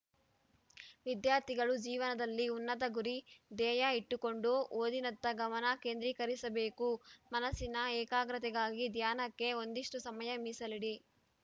ವಿದ್ಯಾರ್ಥಿಗಳು ಜೀವನದಲ್ಲಿ ಉನ್ನತ ಗುರಿ ಧ್ಯೇಯ ಇಟ್ಟುಕೊಂಡು ಓದಿನತ್ತ ಗಮನ ಕೇಂದ್ರೀಕರಿಸಬೇಕು ಮನಸ್ಸಿನ ಏಕಾಗ್ರತೆಗಾಗಿ ಧ್ಯಾನಕ್ಕೆ ಒಂದಿಷ್ಟುಸಮಯ ಮೀಸಲಿಡಿ